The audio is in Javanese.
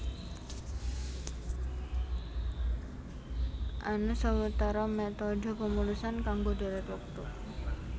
Ana sawetara métodhe pemulusan kanggo dhèrèt wektu